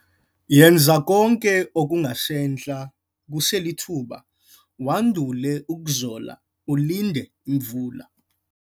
Yenza konke okungasentla kuselithuba wandule ukuzola ulinde imvula.